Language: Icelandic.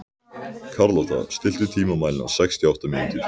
Karlotta, stilltu tímamælinn á sextíu og átta mínútur.